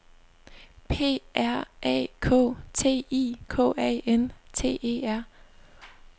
P R A K T I K A N T E R